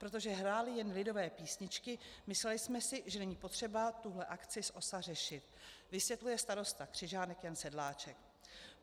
Protože hráli jen lidové písničky, mysleli jsme si, že není potřeba tuhle akci s OSA řešit,' vysvětluje starosta Křižánek Jan Sedláček.